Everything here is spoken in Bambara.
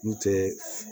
N tɛ